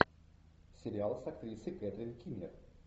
сериал с актрисой кэтрин кинер